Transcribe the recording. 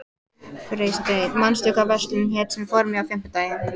Freysteinn, manstu hvað verslunin hét sem við fórum í á fimmtudaginn?